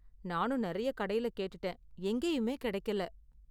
நானும் நிறைய கடையில கேட்டுட்டேன், எங்கேயுமே கிடைக்கல.